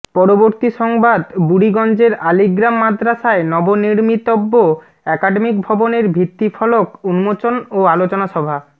পরবর্তী সংবাদ বুড়িগঞ্জের আলীগ্রাম মাদ্রাসায় নবনির্মিতব্য একাডেমিক ভবনের ভিত্তি ফলক উন্মোচন ও আলোচনা সভা